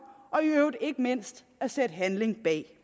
og i øvrigt ikke mindst at sætte handling bag